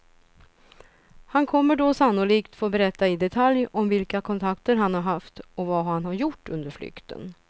Han kommer då sannolikt få berätta i detalj om vilka kontakter han har haft och vad han har gjort under flykten.